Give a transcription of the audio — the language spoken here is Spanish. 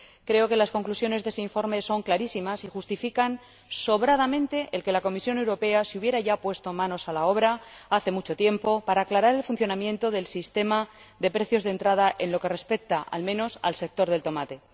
Creo que las conclusiones de ese informe son clarísimas y justifican sobradamente que la Comisión Europea se hubiera puesto manos a la obra, ya hace mucho tiempo, para aclarar el funcionamiento del sistema de precios de entrada en lo que respecta, al menos, al sector del tomate.